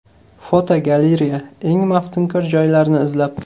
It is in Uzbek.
Fotogalereya: Eng maftunkor joylarni izlab.